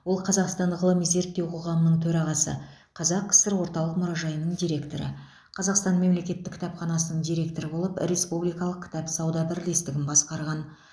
ол қазақстан ғылыми зерттеу қоғамының төрағасы қазақ кср орталық мұражайының директоры қазақстан мемлекеттік кітапханасының директоры болып республикалық кітап сауда бірлестігін басқарған